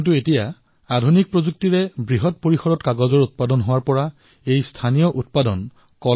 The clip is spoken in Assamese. কিন্তু আধুনিক প্ৰযুক্তিৰে নিৰ্মিত কাগজৰ বাবে এই থলুৱা কৃষ্টি বন্ধ হোৱাৰ উপক্ৰম হৈছে